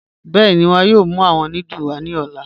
Bẹẹni, wọn yọọ mù awọn núdúlù wa ni ọ̀lá.